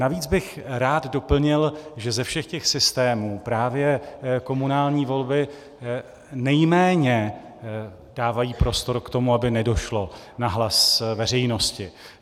Navíc bych rád doplnil, že ze všech těch systémů právě komunální volby nejméně dávají prostor k tomu, aby nedošlo na hlas veřejnosti.